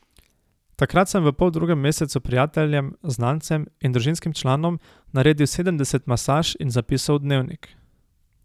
Takrat sem v poldrugem mesecu prijateljem, znancem in družinskim članom naredil sedemdeset masaž in zapisov v dnevnik.